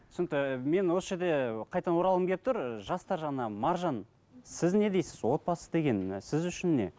түсінкті мен осы жерде қайтадан оралғым келіп тұр ы жастар жағына маржан сіз не дейсіз отбасы деген сіз үшін не